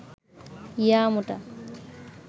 ইয়া মোটা